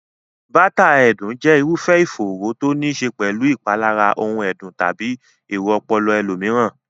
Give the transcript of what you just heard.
bátàà ẹ̀dùn jẹ́ irúfẹ́ ìfòòró to níí ṣe pẹ̀lú ìpalára ohun ẹ̀dùn tàbí èrò ọpọlọ ẹlòmíràn.